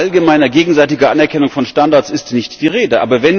Von allgemeiner gegenseitiger Anerkennung von Standards ist nicht die Rede.